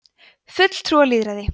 fulltrúalýðræði